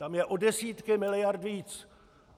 Tam jsou o desítky miliard víc.